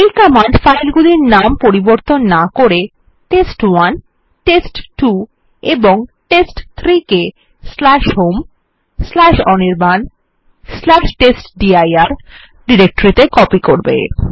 এই command file গুলির নাম পরিবর্তন না করে টেস্ট1 টেস্ট2 এবং টেস্ট3 কে home অনির্বাণ টেস্টডির ডিরেক্টরিত়ে কপি করবে